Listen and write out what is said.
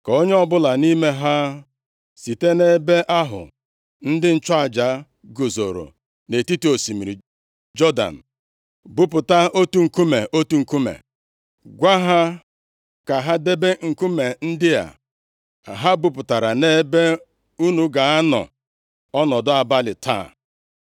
ka onye ọbụla nʼime ha site nʼebe ahụ ndị nchụaja guzoro nʼetiti osimiri Jọdan buputa otu nkume, otu nkume, gwa ha ka ha debe nkume ndị a ha buputara nʼebe unu ga-anọ ọnọdụ abalị taa.”